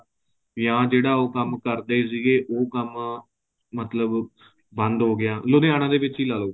ਜਾਂ ਜਿਹੜਾ ਉਹ ਕੰਮ ਕਰਦੇ ਸੀਗੇ ਉਹ ਕੰਮ ਮਤਲਬ ਬੰਦ ਹੋ ਗਿਆ ਲੁਧਿਆਣੇ ਦੇ ਵਿੱਚ ਹੀ ਲਾਲੋ